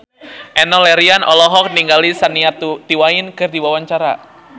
Enno Lerian olohok ningali Shania Twain keur diwawancara